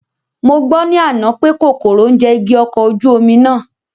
Mo gbọ́ ní àná pè kòkòrò ń jẹ igi ọkọ̀ ojú omi náà